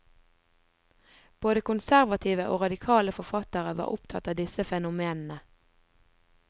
Både konservative og radikale forfattere var opptatt av disse fenomenene.